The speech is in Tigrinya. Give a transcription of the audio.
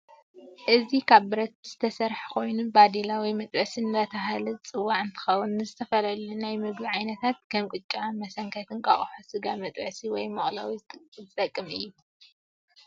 እዚ ካብ ብረት ዝተሰርሐ ኮይኑ በደላ ወይ መጥበሲ እደተበህለ ዝፅዋዕ እንትከውን ንዝተፈላለዩ ናይ ምግብ ዓይነታት ከም ቅጫ መሰንከት፣ እንቋቆሖ፣ ስጋ መጥበሲ ወይ መቅለዊ ዝጠቅም እዩ።